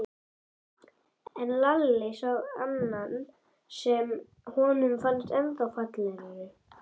En Lalli sá annan sem honum fannst ennþá fallegri.